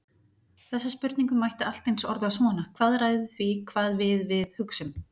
Þessa spurningu mætti allt eins orða svona: Hvað ræður því hvað við við hugsum?